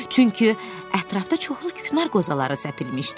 Çünki ətrafda çoxlu küknar qozaları səpilmişdi.